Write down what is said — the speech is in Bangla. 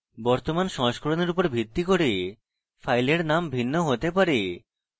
বর্তমান সংস্করণের উপর ভিত্তি করে ফাইলের নাম ভিন্ন হতে পারে